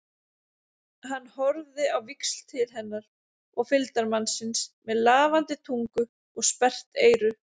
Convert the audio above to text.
Hann horfði á víxl til hennar og fylgdarmannsins með lafandi tungu og sperrt eyru.